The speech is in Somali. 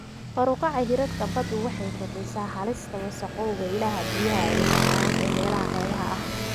Kor u kaca heerarka baddu waxay kordhisaa halista wasakhowga ilaha biyaha macaan ee meelaha xeebaha ah.